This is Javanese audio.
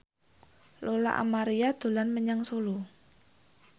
Lola Amaria dolan menyang Solo